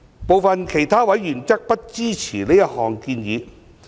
部分其他委員則不支持這項建議。